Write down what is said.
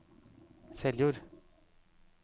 Seljord